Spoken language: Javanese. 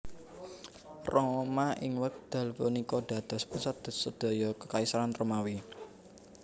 Roma ing wekdal punika dados pusat sedaya Kekaisaran Romawi